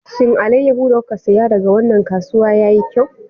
Shin alayyahu da kuka saya daga wannan kasuwa yayi kyau?